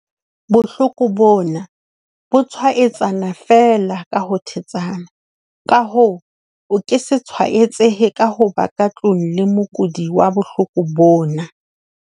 Bohloko bona, bo tshwaetsana feela ka ho thetsana, ka hoo, o ke se tshwaetsehe ka ho ba ka tlung le mokudi wa bohloko bona.